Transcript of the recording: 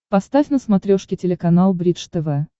поставь на смотрешке телеканал бридж тв